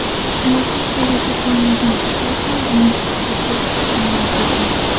Hayotiy sherigi bo‘lmagan qizlar ham umidsizlikka tushishi noto‘g‘ri.